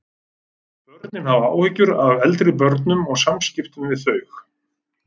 Börnin höfðu áhyggjur af eldri börnum og samskiptum við þau.